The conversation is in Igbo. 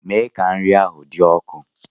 Mee ka nri ahụ dị ọkụ!